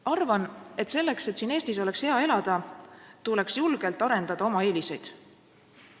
Arvan, et selleks, et siin Eestis oleks hea elada, tuleks julgelt arendada oma eeliseid.